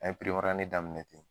An ye daminɛ ten